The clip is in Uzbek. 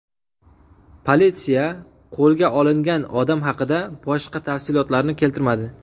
Politsiya qo‘lga olingan odam haqida boshqa tafsilotlarni keltirmadi.